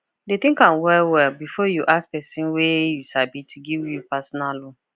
dey think am well well before you ask person wey you sabi to give you personal loan